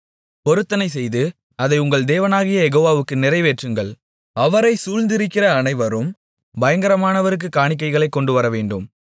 பொருத்தனைசெய்து அதை உங்கள் தேவனாகிய யெகோவாவுக்கு நிறைவேற்றுங்கள் அவரைச் சூழ்ந்திருக்கிற அனைவரும் பயங்கரமானவருக்குக் காணிக்கைகளைக் கொண்டுவரவேண்டும்